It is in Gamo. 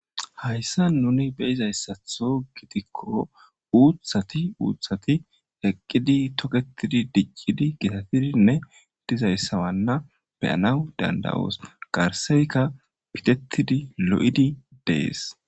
Hayssa nuni be izayssatho gitikko uuththati uuthati eqqidi toketidi dicqidi gitatidinne dizayssawanna beyanaw danda'oos garseyka pitettidi lo'idi dees.